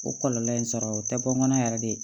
O kɔlɔlɔ in sɔrɔ o tɛ bɔn yɛrɛ de ye